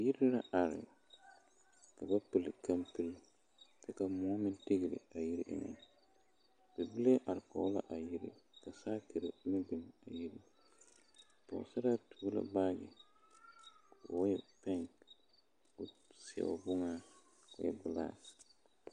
Yiri la are ka ba pili kampoli kyɛ ka moɔ meŋ tigli a yiri eŋa bibile are kɔge la a yiri ka sakiri meŋ biŋ yiri pɔgesaraa tuo la baagi k'o e peege o seɛ o boŋa k'o e gelaase.